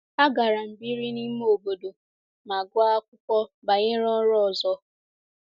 Agara m biri n’ime obodo ma gụọ akwụkwọ banyere ọrụ ọzọ.